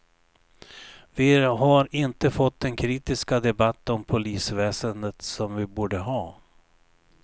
Vi har inte fått den kritiska debatt om polisväsendet som vi borde ha.